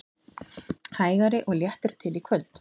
Hægari og léttir til í kvöld